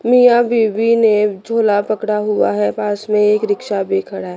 मिया बीबी ने झूला पकड़ा हुआ है पास में एक रिक्शा भी खड़ा--